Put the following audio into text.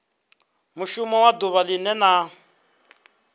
mushumo wa duvha linwe na